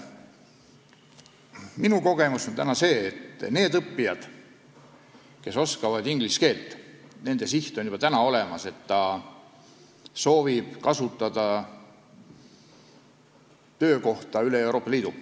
Minu kogemus on see, et nendel õppijatel, kes oskavad inglise keelt, on juba olemas siht kasutada võimalust töötada üle Euroopa Liidu.